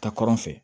Ta kɔrɔn fɛ